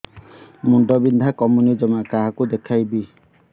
ମୁଣ୍ଡ ବିନ୍ଧା କମୁନି ଜମା କାହାକୁ ଦେଖେଇବି